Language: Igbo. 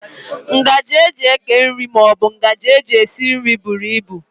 Ngaji e ji eke nri maọbụ nke e ji esi nri buru ibu